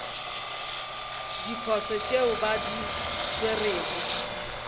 diposo tšeo ba di swerego